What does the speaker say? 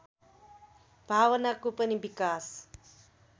भावनाको पनि विकास